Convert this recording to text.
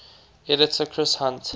editor chris hunt